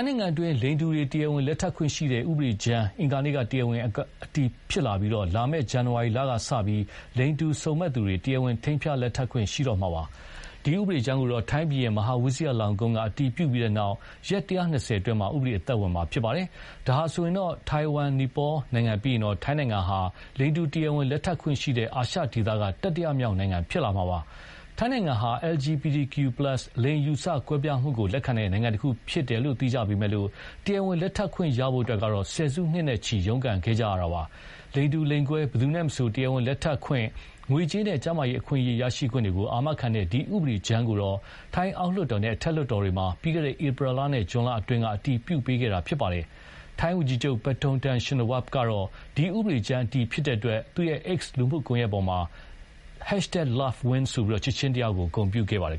နိုင်ငံတွင်း လိင်တူတွေ တရားဝင်လက်ထပ်ခွင့်ရှိတဲ့ဥပဒေကြမ်းဟာ အင်္ဂါနေ့က တရားဝင်ဥပဒေအတည်ဖြစ်လာပြီးလာမယ့် ဇန်နဝါရီလကစလို့ လိင်တူစုံမက်သူတွေ တရားဝင် ထိမ်းမြားလက်ထပ်ခွင့်ရှိတော့မှာပါ။ ဒီ ဥပဒေကြမ်းကို ထိုင်းဘုရင် မဟာဝိဇိယ လောင်ကွမ်းကအတည်ပြပြီးနောက် ရက် ၁၂၀ အတွင်း ဥပဒေအသက်ဝင်မှာဖြစ်ပါတယ်။ ဒါဟာဆိုရင်ထိုင်ဝမ်၊ နီပေါ နိုင်ငံပြီးရင် ထိုင်းဟာ လိင်တူ တရားဝင်လက်ထပ်ခွင့်ရှိတဲ့ အာရှဒေသ တတိယမြောက်နိုင်ငံဖြစ်လာမှာပါ။ ထိုင်းနိုင်ငံဟာ LGPTQ+ လိင်အယူအဆကွဲပြားမှုလက်ခံတဲ့ နိုင်ငံတခုအဖြစ်သိကြပေမယ့်လို့ တရားဝင်လက်ထပ်ခွင့်ရဖို့ဆယ်စုနှစ်နဲ့ချီ ရုန်းကန်ခဲ့ကြရတာပါ။ လိင်တူ လိင်ကွဲ ဘယ်သူနဲ့မဆို တရားဝင်လက်ထပ်ခွင့်၊ ငွေကြေးနဲ့ ကျန်းမာရေးအခွင့်အရေးရရှိခွင့်တွေကို အာမခံတဲ့ ဒီဥပဒေကြမ်းကို ထိုင်းအောက်လွှတ်တော်နဲ့ အထက်လွှတ်တော်တွေမှာ ပြီးခဲ့တဲ့ဧပြီလနဲ့ ဇွန်လအတွင်းက အတည်ပြုပေးခဲ့တာဖြစ်ပါတယ်။ ထိုင်းဝန်ကြီးချုပ် ပတ်ထုံတန်ရှင်နဝပ်ကတော့ ဒီ ဥပဒေကြမ်းအတည်ဖြစ်တဲ့အတွက် X လူမှုကွန်ယက်ပေါ်မှာ #Love Wins ဆိုပြီး ချစ်ခြင်း တရားကို ဂုဏ်ပြုခဲ့ပါတယ်